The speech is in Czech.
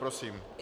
Prosím.